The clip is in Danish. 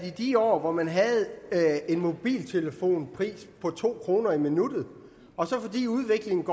i de år hvor man havde en mobiltelefonisk taletidspris på to kroner i minuttet fordi udviklingen